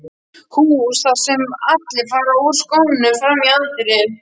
hús þar sem allir fara úr skónum frammi í anddyri.